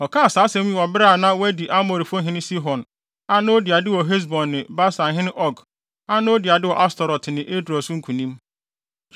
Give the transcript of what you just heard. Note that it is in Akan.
Ɔkaa saa asɛm yi wɔ bere a na wɔadi Amorifo hene Sihon a na odi ade wɔ Hesbon ne Basanhene Og a na odi ade wɔ Astarot ne Edrei so nkonim.